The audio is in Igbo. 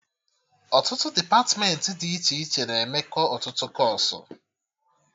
Ọtụtụ depatmentị dị iche iche na-emekọ ọtụtụ kọọsụ